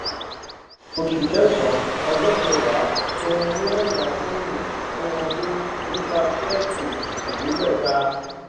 oṣù kẹsànán ọjọ kẹwàá san owó ẹyá fóònù fún ọdún nípa ṣẹẹkì ẹẹdẹgbẹta